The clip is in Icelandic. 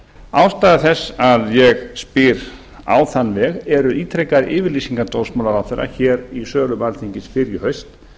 ástæða þess að ég spyr á þann veg eru ítrekaðar yfirlýsingar dómsmálaráðherra hér í sölum alþingis fyrr í haust